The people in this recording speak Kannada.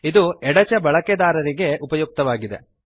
ಇದು ಎಡಚ ಬಳಕೆದಾರರಿಗೆ ಉಪಯುಕ್ತವಾಗಿದೆ